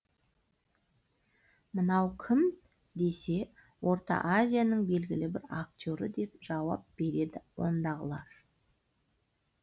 мынау кім десе орта азияның белгілі бір актері деп жауап береді ондағылар